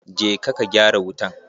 Je ka gyara wutan!